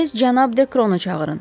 Tez cənab Dekronu çağırın.